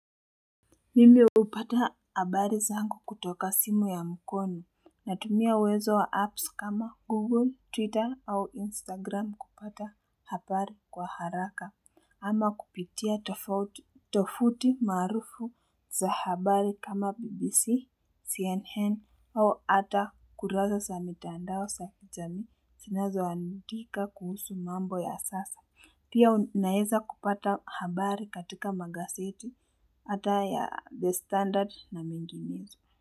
Mimi upata habari zangu kutoka simu ya mkono natumia uwezo wa apps kama Google, Twitter au Instagram kupata habari kwa haraka ama kupitia tofuti maarufu za habari kama BBC, CNN au ata kurasa za mitandao za kijamii zinazo andika kuhusu mambo ya sasa. Pia unaeza kupata habari katika magazeti hata ya The Standard na minginezo.